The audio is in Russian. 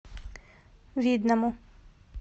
видному